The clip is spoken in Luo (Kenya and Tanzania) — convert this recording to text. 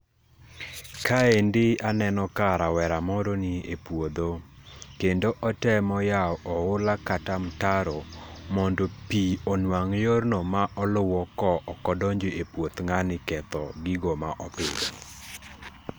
Kaendi aneno ka rawera moro ni e puodho. Kendo otemo yao oula kata mtaro mondo pii onwang' yorno ma oluwo ko okodonjo e puoth ng'ani ketho gigo ma opidhi.